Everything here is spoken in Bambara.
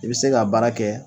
I bi se ka baara kɛ